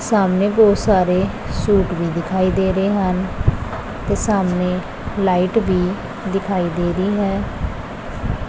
ਸਾਹਮਣੇ ਬਹੁਤ ਸਾਰੇ ਸੂਟ ਵੀ ਦਿਖਾਈ ਦੇ ਰਹੇ ਹਨ ਤੇ ਸਾਹਮਣੇ ਲਾਈਟ ਵੀ ਦਿਖਾਈ ਦੇ ਰਹੀ ਹੈ।